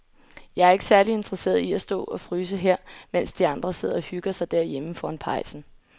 Jeg er ikke særlig interesseret i at stå og fryse her, mens de andre sidder og hygger sig derhjemme foran pejsen.